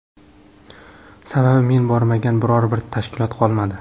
Sababi men bormagan biror bir tashkilot qolmadi.